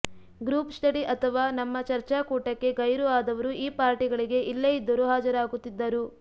group study ಅಥವಾ ನಮ್ಮ ಚರ್ಚಾಕೂಟಕ್ಕೆ ಗೈರು ಆದವರು ಈ ಪಾರ್ಟಿಗಳಿಗೆ ಎಲ್ಲೇ ಇದ್ದರೂ ಹಾಜರಾಗುತ್ತಿದ್ದರು